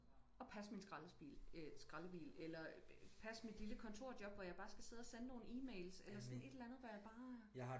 Og passe min skraldebil øh skraldebil eller passe mit lille kontorjob hvor jeg bare skal sidde og sende nogle e-mails eller sådan et eller andet hvor jeg bare